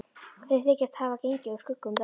Þeir þykjast hafa gengið úr skugga um það.